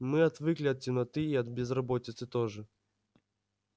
мы отвыкли от темноты и от безработицы тоже